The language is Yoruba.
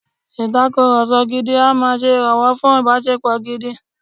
Ìtakùrọlsọ gidi a máa ṣe ìrànwọ́ fún ìbáṣepọ̀ gidi.